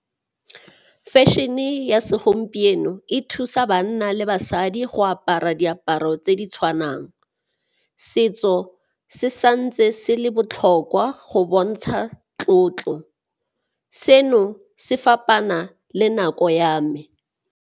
Fashion-e ya segompieno e thusa banna le basadi go apara diaparo tse di tshwanang, setso se santse se le botlhokwa go bontsha tlotlo. Seno se fapana le nako ya me.